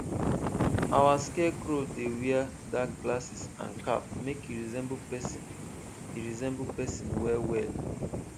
our scarecrow dey wear dark glasses and cap make e resemble person e resemble person wellwell